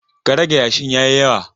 Ka rage yashin ya yi yawa!